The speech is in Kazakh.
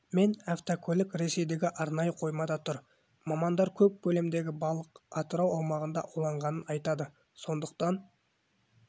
мен автокөлік ресейдегі арнайы қоймада тұр мамандар көп көлемдегі балық атырау аумағында ауланғанын айтады сондықтан